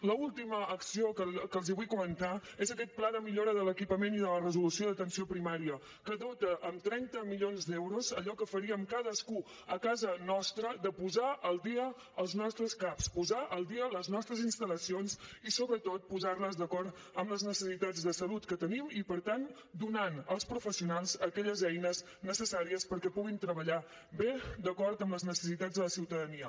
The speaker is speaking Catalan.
l’última acció que els vull comentar és aquest pla de millora de l’equipament i de la resolució d’atenció primària que dota amb trenta milions d’euros allò que faríem cadascú a casa nostra de posar al dia els nostres caps posar al dia les nostres instal·lacions i sobretot posar les d’acord amb les necessitats de salut que tenim i per tant donant als professionals aquelles eines necessàries perquè puguin treballar bé d’acord amb les necessitats de la ciutadania